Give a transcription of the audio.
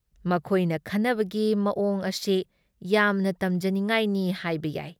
ꯃꯈꯣꯏꯅ ꯈꯟꯅꯕꯒꯤ ꯃꯋꯣꯡ ꯑꯁꯤ ꯌꯥꯝꯅ ꯇꯝꯖꯅꯤꯡꯉꯥꯏꯅꯤ ꯍꯥꯏꯕ ꯌꯥꯏ ꯫